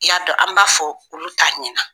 I y'a dɔn an b'a fɔ olu t'a ɲɛna.